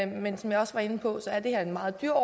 men som jeg også var inde på er det her en meget dyr